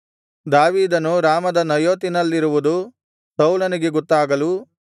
ದಾವೀದನು ರಾಮದ ನಯೋತಿನಲ್ಲಿರುವುದು ಸೌಲನಿಗೆ ಗೊತ್ತಾಗಲು